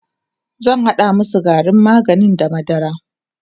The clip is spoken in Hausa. zan hada masu garin maganin da madara